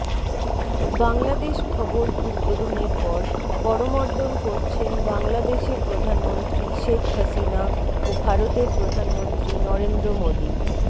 বাংলাদেশ ভবন উদ্বোধনের পর করমর্দন করছেন বাংলাদেশের প্রধানমন্ত্রী শেখ হাসিনা ও ভারতের প্রধানমন্ত্রী নরেন্দ্র মোদি